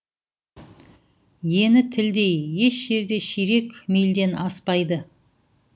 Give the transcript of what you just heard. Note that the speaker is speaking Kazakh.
ені тілдей еш жерде ширек мильден аспайды